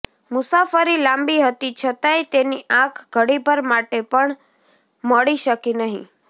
મુસાફરી લાંબી હતી છતાંયે તેની આંખ ઘડીભર માટે પણ મળી શકી નહિ